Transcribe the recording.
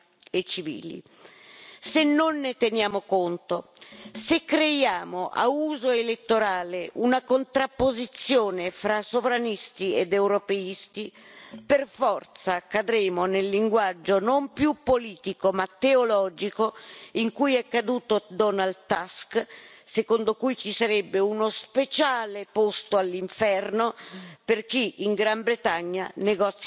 Se non ne teniamo conto, se creiamo a uso elettorale una contrapposizione fra sovranisti ed europeisti, per forza cadremo nel linguaggio non più politico ma teologico in cui è caduto Donald Tusk, secondo cui ci sarebbe uno speciale posto all'inferno per chi in Gran Bretagna negozia male l'uscita dall'Unione.